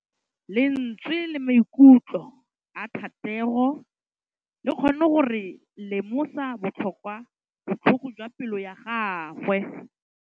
Lentswe la maikutlo a Thategô le kgonne gore re lemosa botlhoko jwa pelô ya gagwe.